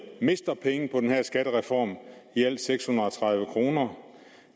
mister penge på den her skattereform i alt seks hundrede og tredive kroner